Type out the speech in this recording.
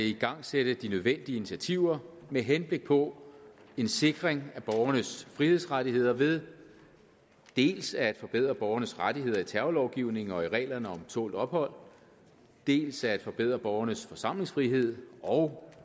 igangsætte de nødvendige initiativer med henblik på en sikring af borgernes frihedsrettigheder ved dels at forbedre borgernes rettigheder i terrorlovgivningen og i reglerne om tålt ophold dels at forbedre borgernes forsamlingsfrihed og